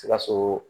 Sikaso